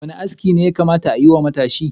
Wanda aski ne da yakata ayi wa matashi?